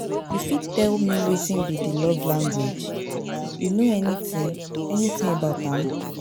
you fit tell me wetin be di love language, you know anything anything about am?